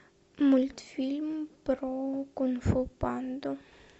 мультфильм про кунг фу панду